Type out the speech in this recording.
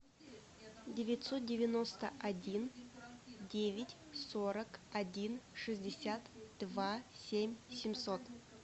девятьсот девяносто один девять сорок один шестьдесят два семь семьсот